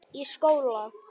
Í skóla?